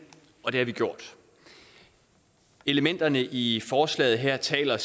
og det har vi gjort elementerne i forslaget her taler